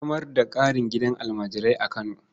A samar da ƙarin gidajen almajirai a Kano.